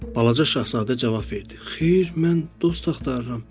Balaca şahzadə cavab verdi: Xeyr, mən dost axtarıram.